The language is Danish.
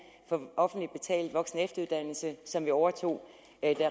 for offentligt betalt voksen og efteruddannelse som vi overtog da